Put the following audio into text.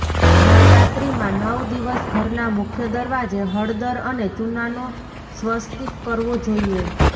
નવરાત્રીમાં નવ દિવસ ઘરના મુખ્ય દરવાજે હળદર અને ચૂનાનો સ્વસ્તિક કરવો જોઈએ